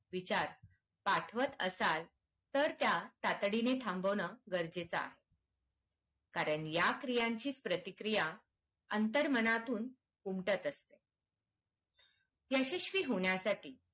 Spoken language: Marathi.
विचार पाठवत असाल तर त्या तातडीने थांबवणं गरजेच आहे कारण या क्रियांची प्रतिक्रिया अंतर्मनातून उमटत असते यशस्वी होण्यासाठी